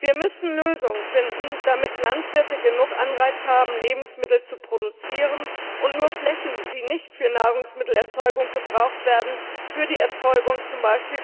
Wir müssen Lösungen finden, damit Landwirte genug Anreize haben, Lebensmittel zu produzieren, und nur Flächen, die nicht für die Nahrungsmittelerzeugung gebraucht werden, für die Erzeugung von z.